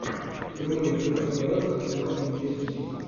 прямой эфир апл арсенал с манчестер сити